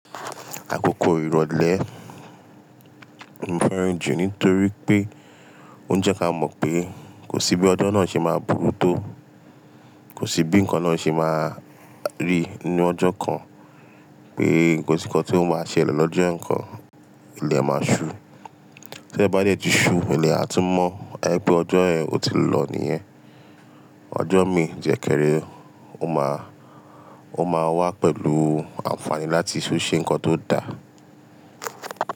Àkókò ìrọ̀lẹ́ mo fẹ́ràn jù nítorí pé o jẹ́ ká mọ̀ pé kò sí bí ọjọ́ náà ṣe máa burú tó, kò sí bí ǹkan náà ṣe máa rí ní ọjọ́ kan pé ǹkan to má ṣelè lọ́jọ́ kan, ilẹ̀ máa ṣú. Tí ilẹ̀ bá dé tí í ṣú, ilẹ̀ á tún ajẹ pé ọjọ́ yẹn ò tíì lọ nìyẹn. Ọjọ́ mi jẹ́ kẹ́rẹ́, ó máa, ó máa wá pẹ̀lú àǹfààní láti tú ṣe ǹkan tó da.